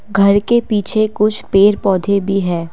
घर के पीछे कुछ पेड़ पौधे भी हैं।